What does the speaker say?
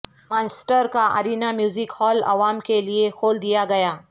Manchester کاارینا music hall عوام کے لیے کھول دیا گیا